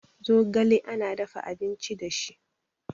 zogale ana dafa abinci da shi